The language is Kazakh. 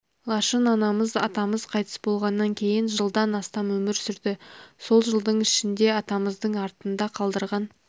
лашын анамыз атамыз қайтыс болғаннан кейін жылдан астам өмір сүрді сол жылдың ішінде атамыздың артында қалдырған